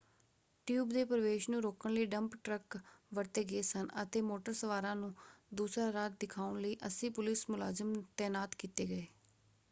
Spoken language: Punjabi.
ਟਿਊਬ ਦੇ ਪ੍ਰਵੇਸ਼ ਨੂੰ ਰੋਕਣ ਲਈ ਡੰਪ ਟਰੱਕ ਵਰਤੇ ਗਏ ਸਨ ਅਤੇ ਮੋਟਰ ਸਵਾਰਾਂ ਨੂੰ ਦੂਸਰਾ ਰਾਹ ਦਿਖਾਉਣ ਲਈ 80 ਪੁਲਿਸ ਮੁਲਾਜ਼ਮ ਤੈਨਾਤ ਕੀਤੇ ਗਏ।